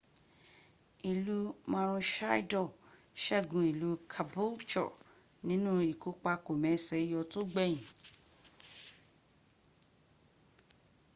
ìlú maroochydore sẹ́gun ìlú caboolture nínú ìkópa kòmẹsẹ̀óyọ tó gbẹ̀yìn